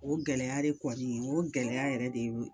O gɛlɛya de kɔni o gɛlɛya yɛrɛ de ye